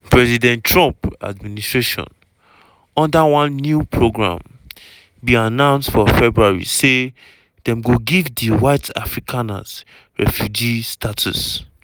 president trump administration under one new program bin announce for february say dem go give di white afrikaners refugee status.